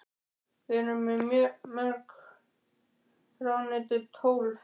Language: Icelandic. Hvað erum við með mörg ráðuneyti, tólf?